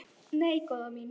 Nei, góða mín.